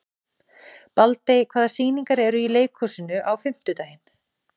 Baldey, hvaða sýningar eru í leikhúsinu á fimmtudaginn?